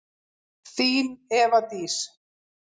Þín, Eva Dís.